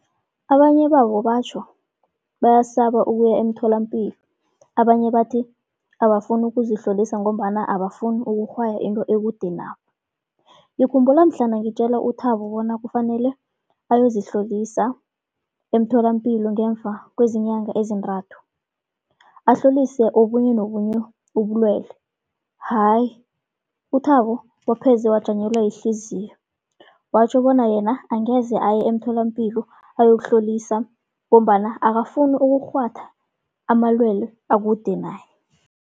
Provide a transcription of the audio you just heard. Abanye babo batjho bayasaba ukuya emtholapilo, abanye bathi abafuni ukuzihlolisa ngombana abafuni ukurhwaya into ekude nabo. Ngikhumbula mhlana ngitjela uThabo bona kufanele ayozihlolisa emtholapilo ngemva kwezinyanga ezintathu, ahlolise obunye nobunye ubulwele. Hayi uThabo wapheze wajanyelwa yihliziyo, watjho bona yena angeze aye emtholapilo ayokuhlolisa, ngombana akafuni ukurhwatha amalwelwe akude naye.